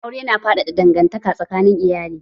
Aure na faɗaɗa dangantaka tsakanin iyalai.